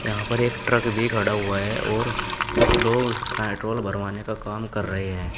यहां पर एक ट्रक भी खड़ा हुआ है और कुछ लोग पेट्रोल भरवाने का काम कर रहे हैं।